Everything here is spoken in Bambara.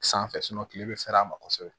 Sanfɛ kile bɛ fɛɛrɛ ma kosɛbɛ